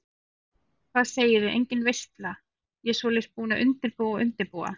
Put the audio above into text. Hvað segiði, engin veisla, ég svoleiðis búin að undirbúa og undirbúa.